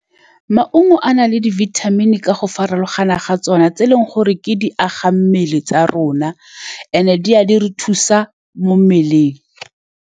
Maungo a na le di-vitamin-i ka go farologana ga tsone, tse e leng gore ke di agang mmele tsa rona and-e di a di re thusa mo mmeleng.